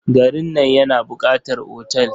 Garin nan yana buƙatar otal.